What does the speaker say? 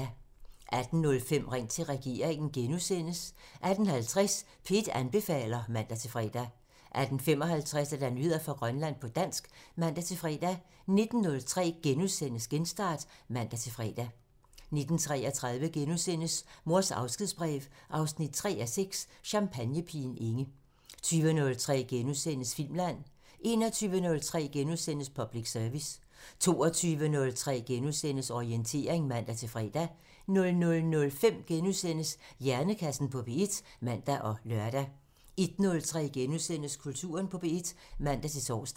18:05: Ring til regeringen *(man) 18:50: P1 anbefaler (man-fre) 18:55: Nyheder fra Grønland på dansk (man-fre) 19:03: Genstart *(man-fre) 19:33: Mors afskedsbrev 3:6 – Champagnepigen Inge * 20:03: Filmland *(man) 21:03: Public Service *(man) 22:03: Orientering *(man-fre) 00:05: Hjernekassen på P1 *(man og lør) 01:03: Kulturen på P1 *(man-tor)